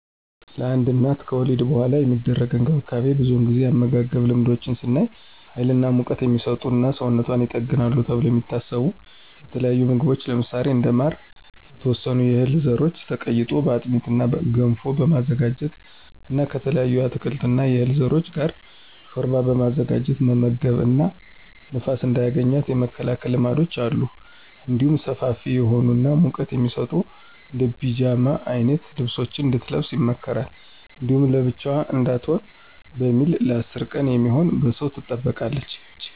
ለአንድ እናት ከወሊድ በኃላ የሚደረግ እንክብካቤ ብዙውን ጊዜ የአመጋገብ ልማዶች ስናይ ሀይል እና ሙቀት" የሚሰጡ እና ሰውነቷን ይጠግናሉ ተብለው የሚታሰቡ የተለያዩ ምግቦች ለምሳሌ እንደ ማር፣ የተወሰኑ የህል ዘሮች ተቀይጦ በአጥሚት እና ገንፎ በማዘጋጀት እና ከተለያዩ የአትክልት እና የዕህል ዘሮች ጋር ሾርባ በማዘጋጀት መመገብ እና ንፋስ እንዳያገኛት የመከላከል ልማዶች አሉ። እንዲሁም ሰፋፊ የሆኑ እና ሙቀት የሚሰጡ እንደ ፒጃማ አይነት ልብሶችን እንድትለብስ ይመከራል። እንዲሁም ብቻዋን እንዳትሆን በሚል ለ10 ቀን የሚሆን በሰው ትጠበቃለች።